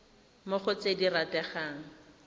mo go tse di rategang